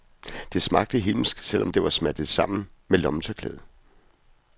Det smagte himmelsk, selv om det var smattet sammen med lommetørklædet.